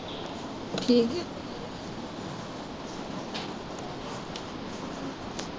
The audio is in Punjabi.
ਠੀਕ ਹੈ।